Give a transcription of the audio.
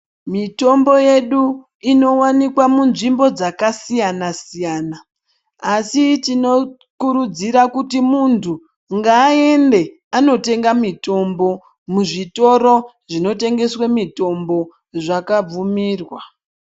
Mitombo yedu inowanikwa munzvimbo dzakasiyana siyana asi tinokurudzira kuti muntu ngaaende andotenga mutombo kuzvitoro zvakabvumirwa.